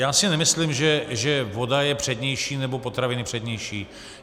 Já si nemyslím, že voda je přednější, nebo potraviny přednější.